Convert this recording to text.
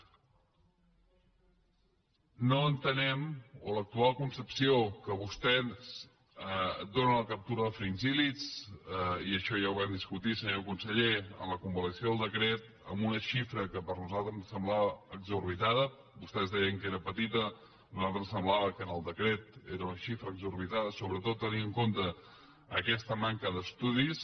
no entenem l’actual concepció que vostès donen a la captura dels fringíl·lid i això ja ho vam discutir senyor conseller en la convalidació del decret amb una xifra que a nosaltres ens semblava desorbitada vostès deien que era petita a nosaltres ens semblava que en el decret era una xifra desorbitada sobretot tenint en compte aquesta manca d’estudis